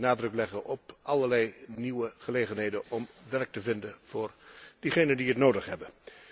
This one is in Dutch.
Wij moeten nadruk leggen op allerlei nieuwe gelegenheden om werk te vinden voor diegenen die het nodig hebben.